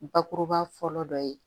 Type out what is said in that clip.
Bakuruba fɔlɔ dɔ ye